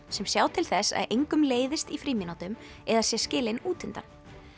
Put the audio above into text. sem sjá til þess að engum leiðist í frímínútum eða sé skilinn út undan